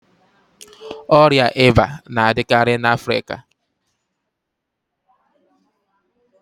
Ọria íbà na-adịkarị n'afrịka